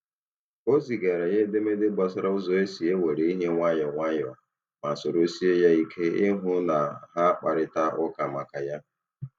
O zigara ya edemede gbasara ụzọ esi e were ihe nwayọọ nwayọọ, ma soro sie ya ike ịhụ na ha kparịta ụka maka ya.